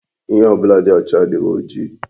Ihe ọbụla dị ọcha adịghị oji.